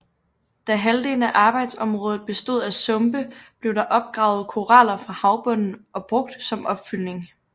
Da halvdelen af arbejdsområdet bestod af sumpe blev der opgravet koraller fra havbunden og brug som opfyldning